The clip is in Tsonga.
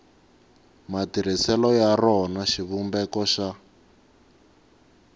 matirhiselo ya rona xivumbeko xa